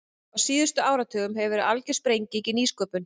Á síðustu áratugum hefur verið algjör sprenging í nýsköpun.